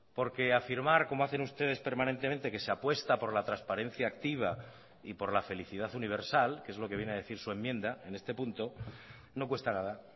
porque afirmar como hacen ustedes permanentemente que se apuesta por la transparencia activa y por la felicidad universal que es lo que viene a decir su enmienda en este punto no cuesta nada